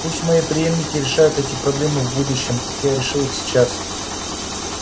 пусть мои преемники решают эти проблемы в будущем как я решил их сейчас